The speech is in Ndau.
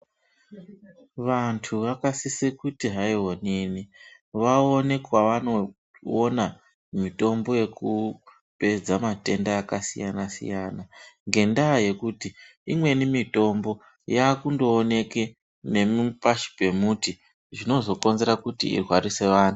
Vantu vakasise kuti hai onini, vaone kwavanoona mitombo yekupedza matenda akasiyana siyana ngendaa yekuti imweni mitombo yakuoneke ngepashi pembuti zvinozokonzera kuti irwarise antu.